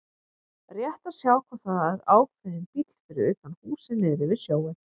Rétt að sjá hvort það er ákveðinn bíll fyrir utan húsið niðri við sjóinn.